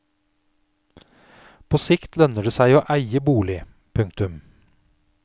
På sikt lønner det seg å eie bolig. punktum